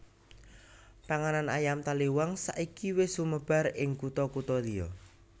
Panganan ayam taliwang saiki wis sumebar ing kutha kutha liya